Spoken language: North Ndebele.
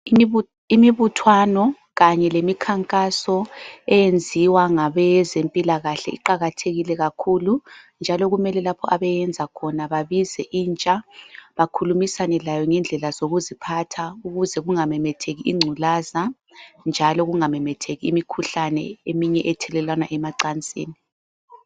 Imibuthwano kanye lemikhankaso eyinziwa ngabezempilakahle iqakathekile kakhulu, njalo kumele lapho abayenza khona babize intsha bakhulumisane layo ngendlela yokuziphatha ukuze kungamemetheki ingculaza njalo kungamemetheki imikhuhlane eminye ethelelwana emacansini.